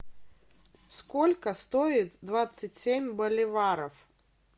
сколько стоит двадцать семь боливаров